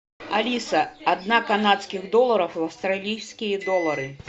алиса одна канадских долларов в австралийские доллары